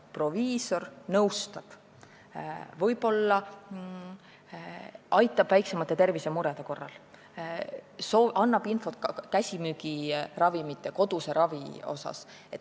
Proviisor nõustab, võib-olla aitab väiksemate tervisemurede korral, ta annab infot ka käsimüügiravimite ja koduse ravi kohta.